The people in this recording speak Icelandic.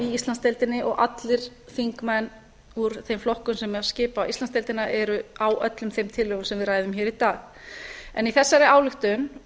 íslandsdeildinni og allir þingmenn úr þeim flokkum sem skipa íslandsdeildina eru á öllum þeim tillögum sem við ræðum hér í dag í þessari ályktun